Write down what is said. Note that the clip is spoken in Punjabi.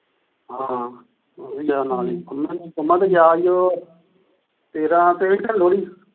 ਹਾਂ ਉਹ ਵੀ ਆ ਨਾਲ ਹੀ ਪੰਮਾ, ਪੰਮਾ ਤਾ ਗਿਆ ਸੀ ਉਹ ਤੇਰਾ ਤੇਰਾ ਤਰੀਕ ਲੋਹੜੀ,